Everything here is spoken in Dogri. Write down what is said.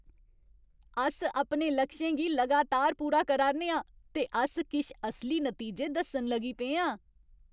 अस अपने लक्षें गी लगातार पूरा करा 'रने आं ते अस किश असली नतीजे दस्सन लगी पे आं।